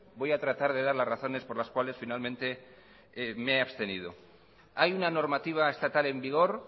voy a tratar de dar las razones por las cuales finalmente me he abstenido hay una normativa estatal en vigor